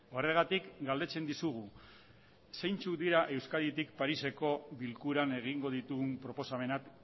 horregatik galdetzen dizugu zeintzuk dira euskaditik pariseko bilkuran egingo ditugun proposamenak